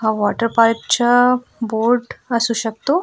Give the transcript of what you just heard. हा वॉटरपार्क च्या बोर्ड आसू शकतो.